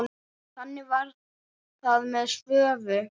Þannig var það með Svövu.